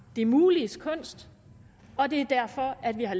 det muliges kunst og det er derfor at vi har